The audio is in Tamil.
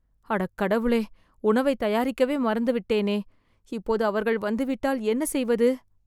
அட கடவுளே.. உணவை தயாரிக்கவே மறந்து விட்டேனே.. இப்போது அவர்கள் வந்துவிட்டால் என்ன செய்வது